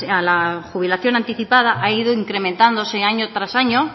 a la jubilación anticipada ha ido incrementándose año tras año